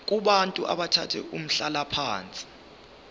kubantu abathathe umhlalaphansi